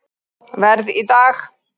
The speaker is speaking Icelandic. Verð í dag